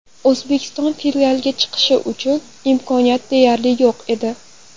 O‘zbekiston finalga chiqishi uchun imkoniyat deyarli yo‘q edi.